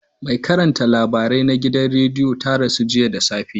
Mai karanta labarai na gidan rediyo ta rasu jiya da safe.